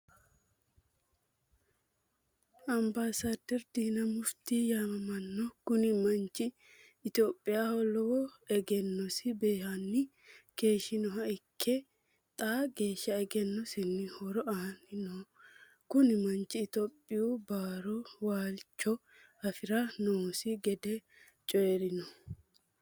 Ambasaderi dina mufiti yaamamanno kuni manchi itoophiyaaho lowo eggenosi beehanni keeshinoha ikke, xaa geesha eggenosinni horo aani no, kuni manchi itoyophiyu baaru waalicho afira noosi gede coyirino